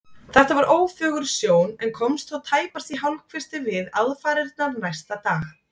Þetta var ófögur sjón en komst þó tæpast í hálfkvisti við aðfarirnar næsta dag.